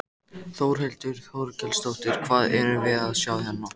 Þórhildur Þorkelsdóttir: Hvað erum við að sjá hérna?